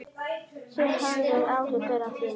Þið höfðuð áhyggjur af því?